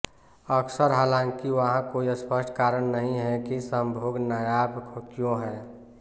अक्सर हालांकि वहाँ कोई स्पष्ट कारण नहीं है की संभोग नायाब क्यों है